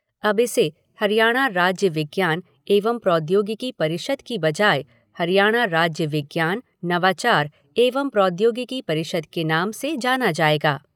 अब इसे हरियाणा राज्य विज्ञान एवं प्रौद्योगिकी परिषद के बजाय हरियाणा राज्य विज्ञान, नवाचार एवं प्रौद्योगिकी परिषद के नाम से जाना जाएगा।